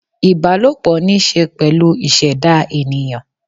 ìbálòpọ̀ ní í ṣe pẹ̀lú ìṣẹ̀dá ènìyàn